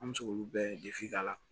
An bɛ se k'olu bɛɛ ka na